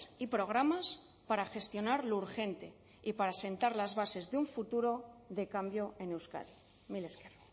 y programas para gestionar lo urgente y para sentar las bases de un futuro de cambio en euskadi mila esker